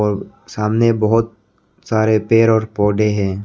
और सामने बहोत सारे पेड़ पौधे हैं।